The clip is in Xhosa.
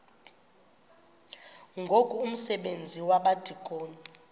ngoku umsebenzi wabadikoni